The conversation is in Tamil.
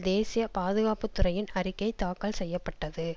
தேசிய பாதுகாப்பு துறையின் அறிக்கை தாக்கல் செய்ய பட்டது